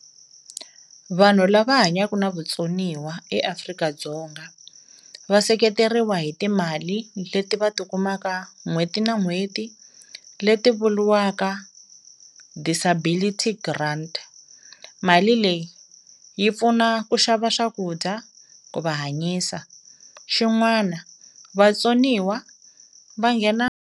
Vanhu lava hanyaku na vutsoniwa eAfrika-Dzonga va seketeriwa hi timali leti va tikumaka n'hweti na n'hweti leti vuliwaka disabilitity grant, mali leyi yi pfuna ku xava swakudya ku va hanyisa xin'wana vatsoniwa va nghena.